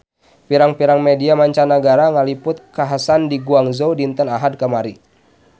Pirang-pirang media mancanagara ngaliput kakhasan di Guangzhou dinten Ahad kamari